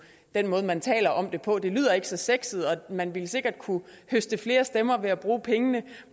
den måde man taler om det på det lyder ikke så sexet og man ville sikkert kunne høste flere stemmer ved at bruge pengene